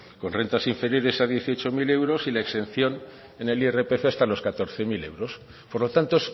con rentas inferiores a dieciocho mil euros y la exención en el irpf hasta los catorce mil euros por lo tanto